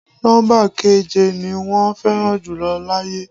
Nọ́ḿbà keje ni wọ́n fẹ́ràn jùlọ láyé.